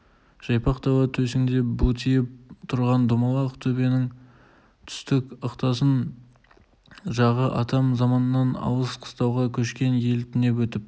жайпақ дала төсіңде бұлтиып тұрған домалақ төбенің түстік ықтасын жағы атам заманнан алыс қыстауға көшкен ел түнеп өтіп